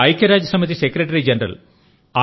ఐక్యరాజ్య సమితి secretary general